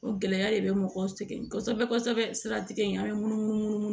O gɛlɛya de bɛ mɔgɔw sɛgɛn kosɛbɛ kosɛbɛ siratigɛ in an bɛ munumunu